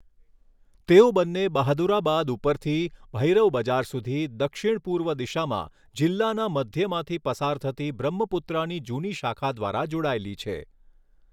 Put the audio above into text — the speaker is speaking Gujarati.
તેઓ બંને બહાદુરાબાદ ઉપરથી ભૈરવ બજાર સુધી દક્ષિણ પૂર્વ દિશામાં જિલ્લાના મધ્યમાંથી પસાર થતી બ્રહ્મપુત્રાની જૂની શાખા દ્વારા જોડાયેલી છે.